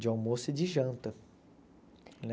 De almoço e de janta, né?